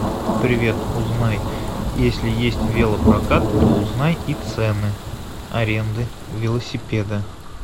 привет узнай если есть велопрокат то узнай и цены аренды велосипеда